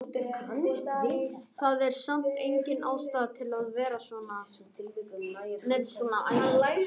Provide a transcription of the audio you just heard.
Það er samt engin ástæða til að vera með svona æsing!